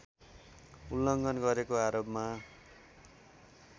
उल्लङ्घन गरेको आरोपमा